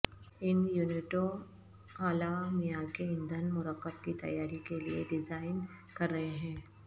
ان یونٹوں اعلی معیار کے ایندھن مرکب کی تیاری کے لئے ڈیزائن کر رہے ہیں